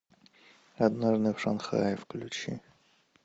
однажды в шанхае включи